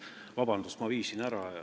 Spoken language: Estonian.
Vabandust!